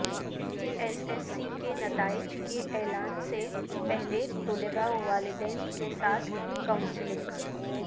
S S C کے نتائج کے اعلان سے پہلے طلبہ و والدین کیساتھ کونسلنگ